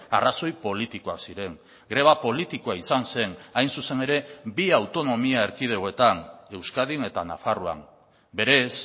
arrazoi politikoak ziren greba politikoa izan zen hain zuzen ere bi autonomia erkidegoetan euskadin eta nafarroan berez